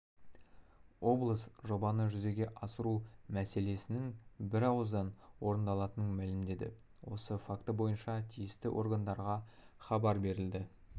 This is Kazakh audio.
облыс жобаны жүзеге асыру мәселесінің бір ауыздан орындалатынын мәлімдеді осы факті бойынша тиісті органдарға хабар берілді